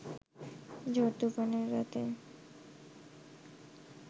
ঝড়-তুফানের রাতে